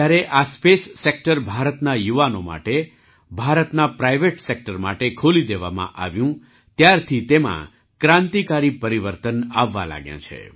જ્યારે આ space sector ભારતના યુવાનો માટે ભારતના પ્રાઇવેટ સેક્ટર માટે ખોલી દેવામાં આવ્યું ત્યારથી તેમાં ક્રાંતિકારી પરિવર્તન આવવા લાગ્યાં છે